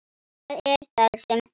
Það er það sem þarf.